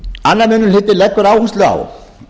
annar minni hluti leggur áherslu á